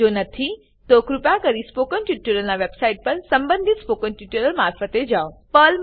જો નહિં તો કૃપા કરીને સ્પોકન ટ્યુટોરીયલના વેબસાઇટ પર સંબંધિત સ્પોકન ટ્યુટોરિયલ્સ મારફતે જાઓ